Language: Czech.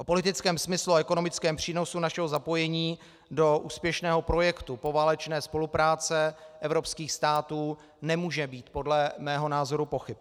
O politickém smyslu a ekonomickém přínosu našeho zapojení do úspěšného projektu poválečné spolupráce evropských států nemůže být podle mého názoru pochyb.